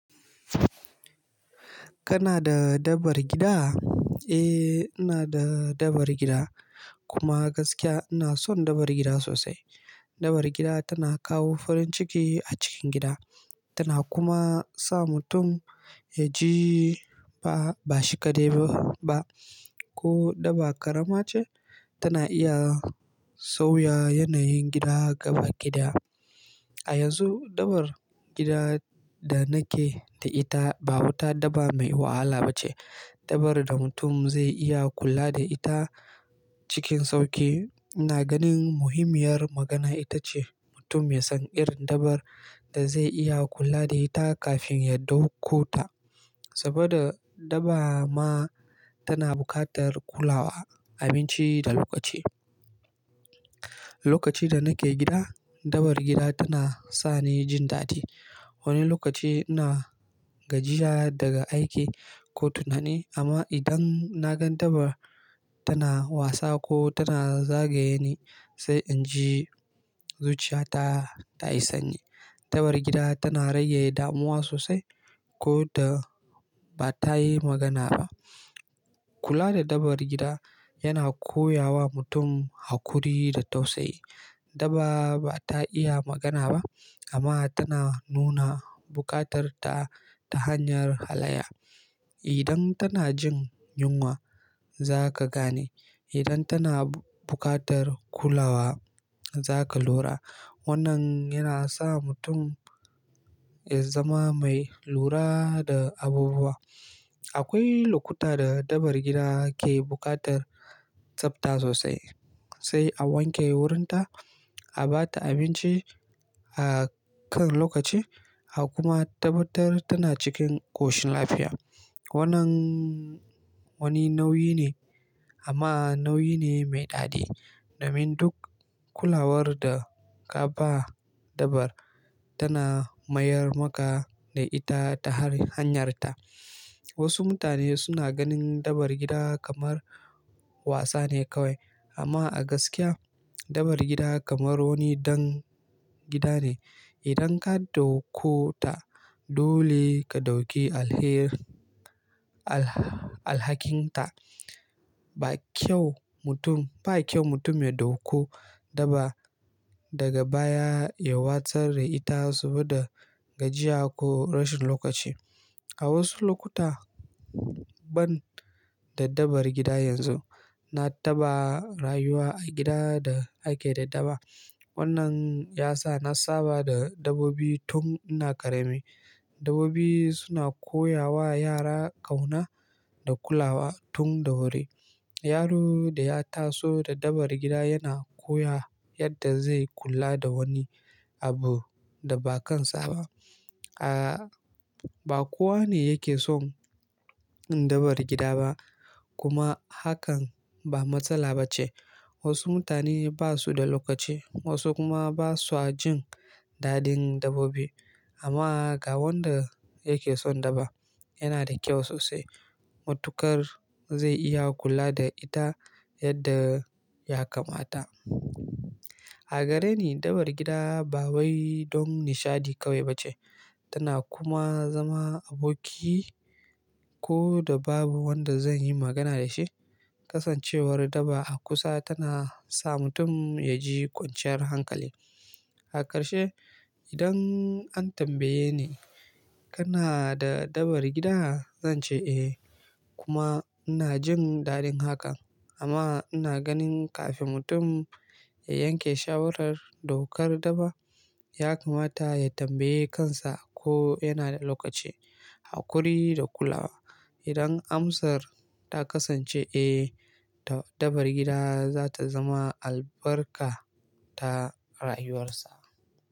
Kana da dabar gida? Eh, ina da dabar gida kuma gaskiya ina son dabar gida sosai. Dabar gida tana kawo farin ciki a cikin gida, tana kuma sa mutum ya ji ba, ba shi kaɗai ba ba ko daba ƙarama ce, tana iya sauya yanayin gida gaba gida. A yanzu, dabar gida da nake da ita ba wata dabar mai wahala ba ce. Dabar da mutum zai iya kula da ita cikin sauƙi. Ina ganin muhimmiyar magana ita ce mutum ya san irin dabar da zai iya kula da ita kafin ya ɗauko ta. Saboda dabar ma tana buƙatar kulawa, abinci da lokaci. Lokacin da nake gida, dabar gida tana sa ni jin dadi. Wani lokaci ina gajiya daga aiki ko tunani amma idan na gan dabar tana wasa ko tana zagaye ni, sai in ji zuciya ta, ta yi sanyi. Dabar gida tana rage damuwa sosai ko da ba ta yi magana ba. Kula da dabar gida yana koya wa mutum haƙuri da tausayi. Dabar ba ta iya magana ba amma tana nuna buƙatar ta ta hanyar halayya. Idan tana jin yunwa, za ka gane. Idan tana buƙatar kulawa, za ka lura. Wannan yana sa mutum ya zama mai lura da abubuwa. Akwai lokuta da dabar gida ke buƙatar tsabta sosai. Sai a wanke wurinta, a ba ta abinci a kan lokaci a kuma tabbatar tana cikin ƙoshin lafiya. Wannan wani nauyi ne amma nauyi ne mai daɗi. Domin duk kulawar da ka ba dabar, tana mayar maka da ita ta hanyarta. Wasu mutane suna ganin dabar gida kamar wasa ne kawai amma a gaskiya, dabar gida kamar wani dan gida ne. Idan ka ɗauko ta, dole ka ɗauki alher, alha-- alhakinta. Ba kyau mutum, ba kyau mutum ya ɗauko dabar daga baya ya watsar da ita saboda gajiya ko rashin lokaci. A wasu lokuta, ban da dabar gida yanzu, na taɓa rayuwa a gida da ake da dabar. Wannan ya sa na saba da dabbobi tun ina ƙarami. Dabbobi suna koya wa yara ƙauna da kulawa tun da wuri. Yaro da ya taso da dabar gida yana koya yadda zai kula da wani abu da ba kan sa ba. A, ba kowa ne yake son dabar gida ba kuma hakan ba matsala ba ce. Wasu mutane ba su da lokaci, wasu kuma ba sa jin dadin dabbobi. Amma ga wanda yake son dabar, yana da kyau sosai. Matukar zai iya kula da ita yadda ya kamata. A gare ni, dabar gida ba wai don nishaɗi kawai ba ce. Tana kuma zama aboki ko da babu wanda zan yi magana da shi. Kasancewar dabar a kusa tana sa mutum ya ji kwanciyar hankali. Hakarshe, idan an tambaye ni kana da dabar gida? Zan ce eh kuma ina jin dadin hakan. Amma ina ganin kafin mutum ya yanke shawarar ɗaukar dabar, ya kamata ya tambaye kansa ko yana da lokaci, haƙuri da kulawa. Idan amsar ta kasance eh, ta dabar gida za ta zama albarka ta rayuwarsa.